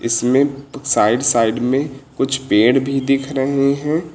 इसमें side side में कुछ पेड़ भी दिख रहे हैं।